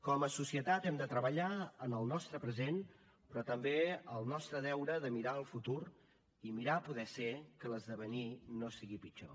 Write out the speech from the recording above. com a societat hem de treballar en el nostre present però també el nostre deure de mirar el futur i mirar a poder ser que l’esdevenir no sigui pitjor